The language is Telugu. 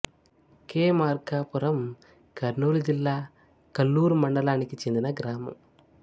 కే మార్కాపురం కర్నూలు జిల్లా కల్లూరు మండలానికి చెందిన గ్రామం